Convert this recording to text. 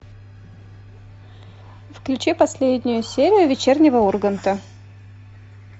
включи последнюю серию вечернего урганта